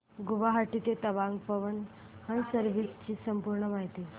गुवाहाटी ते तवांग पवन हंस सर्विसेस ची पूर्ण माहिती